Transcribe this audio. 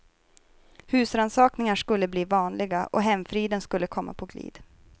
Husrannsakningar skulle bli vanliga, och hemfriden skulle komma på glid.